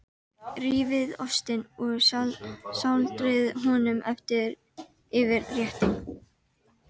Rífið ostinn og sáldrið honum yfir réttinn.